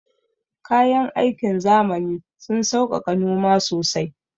Kayan aikin zamani sun sauƙaƙa noma sosai